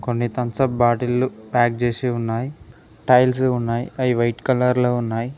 కొన్ని తంసప్ బాటిల్లు ప్యాక్ చేసి ఉన్నాయి టైల్స్ ఉన్నాయి అవి వైట్ కలర్ లో ఉన్నాయి.